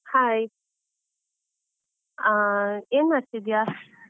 Hai , ಆ, ಏನ್ ಮಾಡ್ತಿದ್ದೀಯಾ?